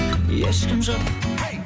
ешкім жоқ